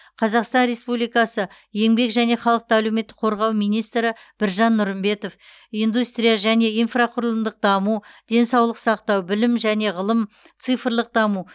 қазақстан республикасы еңбек және халықты әлеуметтік қорғау министрі біржан нұрымбетов индустрия және инфрақұрылымдық даму денсаулық сақтау білім және ғылым цифрлық даму